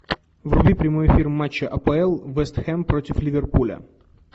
вруби прямой эфир матча апл вест хэм против ливерпуля